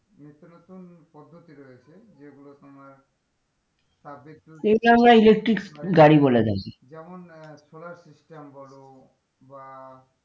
নিত্যনতুন পদ্ধতি রয়েছে যেগুলো তোমার তাপবিদ্যুৎ বা electric গাড়ি বলে আরকি যেমন আহ solar system বলো বা,